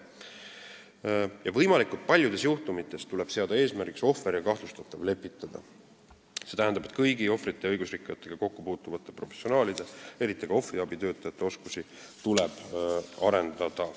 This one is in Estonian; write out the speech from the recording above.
Võimalikult paljudes juhtumites tuleb seada eesmärgiks ohvri ja kahtlustatava lepitamine, st kõigi ohvrite ja õigusrikkujatega kokku puutuvate professionaalide, eriti ohvriabitöötajate oskusi tuleb arendada.